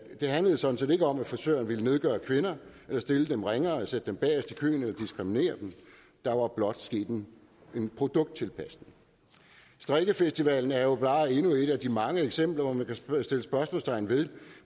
det handlede sådan set ikke om at frisøren ville nedgøre kvinder stille dem ringere sætte dem bagest i køen eller diskriminere dem der var blot sket en produkttilpasning strikkefestivalen er jo bare endnu et af de mange eksempler hvor man kan sætte spørgsmålstegn ved